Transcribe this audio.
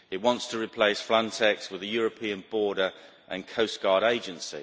It wants to replace Frontex with the European Border and Coast Guard Agency.